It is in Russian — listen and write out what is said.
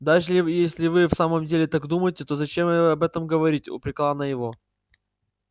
даже если вы в самом деле так думаете то зачем об этом говорить упрекала она его